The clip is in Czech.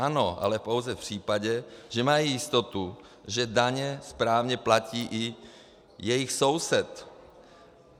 Ano, ale pouze v případě, že mají jistotu, že daně správně platí i jejich soused.